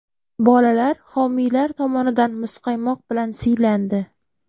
Bolalar homiylar tomonidan muzqaymoq bilan siylandi.